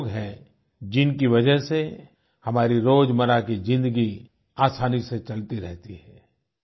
ये वो लोग हैं जिनकी वज़ह से हमारी रोजमर्रा की ज़िंदगी आसानी से चलती रहती है